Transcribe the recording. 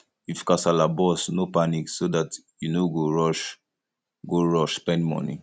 if kasala burst no panic so dat you no go rush go rush spend money